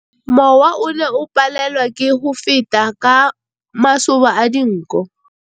Mowa o ne o palelwa ke go feta ka masoba a dinko.